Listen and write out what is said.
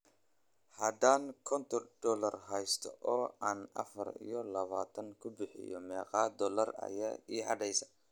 haddaan konton doollar haysto oo aan afar iyo labaatan ku bixiyo, meeqa doollar ayaa ii hadhaya?